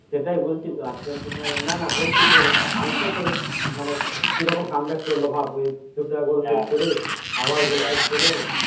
সেটাই বলছি তো আর্জেন্টিনা না না বলছি তো ফ্রান্স তো তোর মানে কি রকম come back করলো ভাব ওই দুটো goal set করে আবার goal set করে